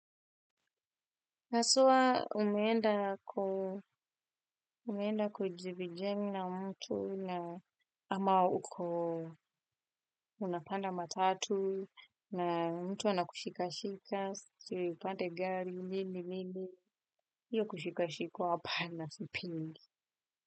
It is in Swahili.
Na soa umeenda kujivijemi na mtu na ama uko unapanda matatu na mtu anakushikashika, si upande gari, nini, nini, hiyo kushikashikwa hapana sipendi.